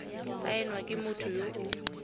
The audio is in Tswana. saenwa ke motho yo o